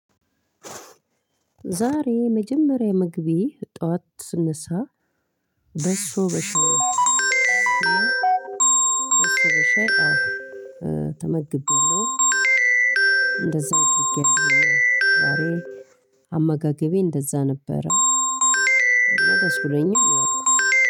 ዛሬ መጀመሪያ ምግቤ ጠዋት ስነሳ በሶ በሸሮ ሻይ አዎ ተመግቤያለሁ እንደዛ አድርጌኣለው። ዛሬ አመጋገቤ እንደዛ ነበረ። እና ደስብሎኛል።